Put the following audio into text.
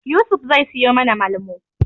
Yusuf zai siyo mana Malmo.